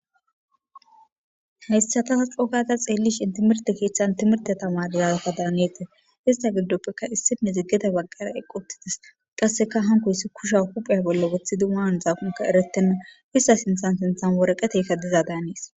Hayssatas coogada xeellish intimirte keeththan timirte tamarazaka daanete hista gildoppekka issinne ziggeda baggara eqquttides qasseka hanko issi kusha hupheya bolla wuthi diman zaaqonka erettenna wissa sinthan sinthan woreqeteykka diza daanees.